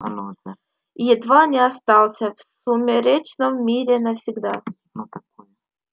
и едва не остался в сумеречном мире навсегда